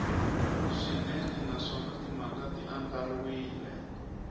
swinene naswona timhaka ti andlariwile